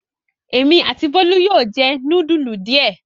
Èmi àti Bólú yóò jẹ núdúlù díẹ̀.